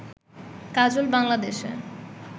কাজল বাংলাদেশে